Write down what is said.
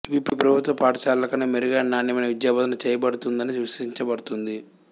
ఇవి ప్రభుత్వ పాఠశాలల కన్నా మెరుగైన నాణ్యమైన విద్యాబోధన చేయబడుతుందని విశ్వసించబడుతుంది